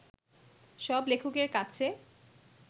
সব লেখকের কাছে